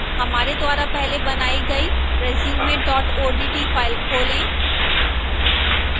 हमारे द्वारा पहले बनाई गई resume odt file खोलें